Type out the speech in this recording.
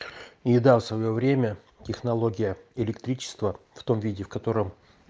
еда в своё время технология электричество в том виде в котором